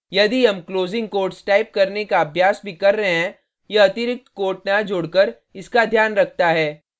यदि हम closing quotes type करने का अभ्यास भी कर रहे हैं यह अतिरिक्त quotes न जोडकर इसका ध्यान रखता है